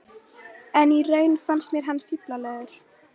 En í raun fannst mér hann fíflalegur.